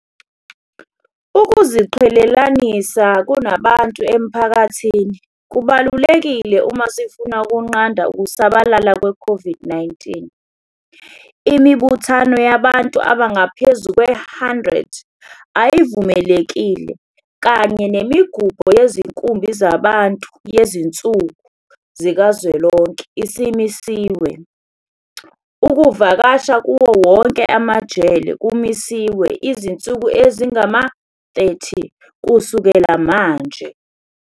Ukuziqhelelanisa kubantu emphakathini kubalulekile uma sifuna ukunqanda ukusabalala kwe-COVID-19. Imibuthano yabantu abangaphezu kwe-100 ayivumelekile kanye nemigubho yezinkumbi zabantu yezinsuku zikazwelonke isimisiwe. Ukuvakasha kuwo wonke amajele kumisiwe izinsuku ezingama-30 kusuka manje.